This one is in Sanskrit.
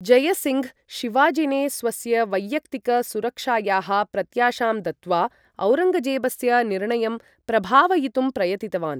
जयसिङ्घ्, शिवाजिने स्वस्य वैयक्तिक सुरक्षायाः प्रत्याशां दत्त्वा, औरङ्गजेबस्य निर्णयं प्रभावयितुं प्रयतितवान्।